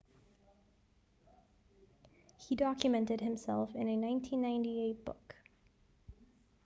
he documented himself in a 1998 book